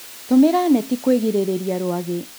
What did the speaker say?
Tũmĩra neti kwĩgirĩrĩria rwagĩ